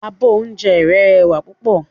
Abọ́ oúnjẹ rẹ́ rẹwà púpọ̀.